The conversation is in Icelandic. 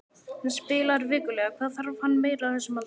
Hann spilar vikulega, hvað þarf hann meira á þessum aldri?